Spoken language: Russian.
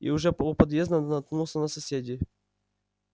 и уже по у подъезда наткнулся на соседей